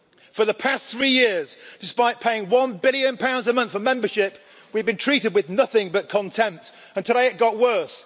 For the past three years, despite paying GBP 1 billion a month for membership, we have been treated with nothing but contempt, and today it got worse.